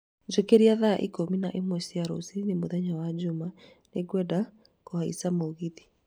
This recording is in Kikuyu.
Njũkĩra thaa ikũmi na ĩmwe cia rũcinĩ mũthenya wa Jumaa. Nĩngwenda kũhaica mũgithi.